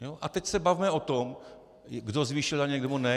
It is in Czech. A teď se bavme o tom, kdo zvýšil daně a kdo ne.